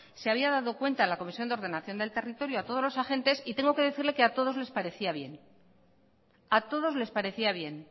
se había dado cuenta la comisión de ordenación del territorio a todos los agentes y tengo que decirle que a todos les parecía bien